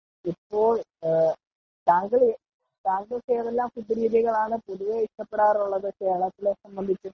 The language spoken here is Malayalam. ഇപ്പോൾ താങ്കൾക്കു ഏതെല്ലാം ഫുഡ്‌ രീതികൾ ആണ് പൊതുവെ ഇഷ്ടപെടാറുള്ളത് ,കേരളത്തിലെ സംബന്ധിച്ചു .